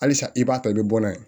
Halisa i b'a ta i bɛ bɔ n'a ye